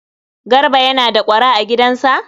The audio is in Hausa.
Garba yana da ƙwara a gidansa?